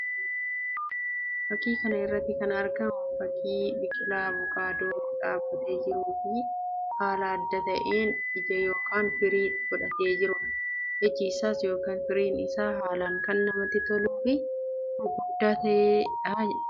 Fakkii kana irratti kan argamu fakkii biqilaa avukaadoo dhaabbatee jiruu fi haala adda ta'een ija yookiin firii godhatee jiruu dha. Iji isaas yookiin firiin isaa haalaan kan namatti toluu fi gurguddaa kan ta'ee dha.